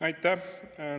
Aitäh!